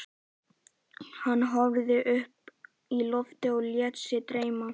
Hann horfði upp í loftið og lét sig dreyma.